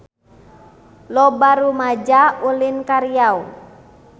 Loba rumaja ulin ka Riau